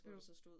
Jo